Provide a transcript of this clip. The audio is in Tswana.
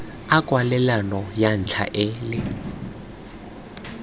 a kwalelano ya ntlha le